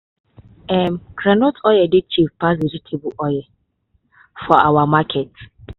um groundnut oil dey cheap pass vegetable oil for our market.